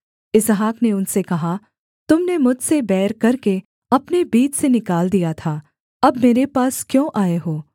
इसहाक ने उनसे कहा तुम ने मुझसे बैर करके अपने बीच से निकाल दिया था अब मेरे पास क्यों आए हो